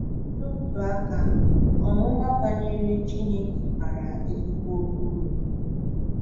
N’otu aka, ọmụma banyere Chineke bara ezigbo uru.